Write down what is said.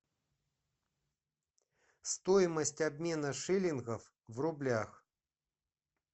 стоимость обмена шиллингов в рублях